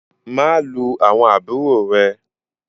Má lù àwọn àbúrò rẹ!